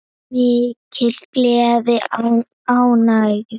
Mikil gleði og ánægja.